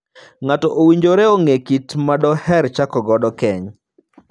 Ng'ato owinjore ong'ee kit ng'at ma doher chako godo keny.